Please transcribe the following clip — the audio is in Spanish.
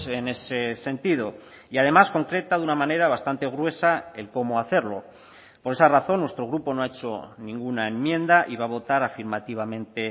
en ese sentido y además concreta de una manera bastante gruesa el cómo hacerlo por esa razón nuestro grupo no ha hecho ninguna enmienda y va a votar afirmativamente